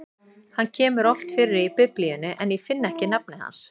Hann kemur oft fyrir í Biblíunni, en ég finn ekki nafnið hans.